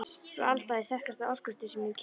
Frú Alda er sterkasta orkustöð sem ég hef kynnst.